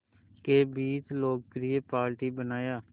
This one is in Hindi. के बीच लोकप्रिय पार्टी बनाया